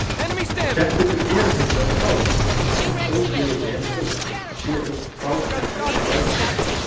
Keppendur eru hins vegar fáir, en þó fleiri en einn, sé um fákeppni að ræða.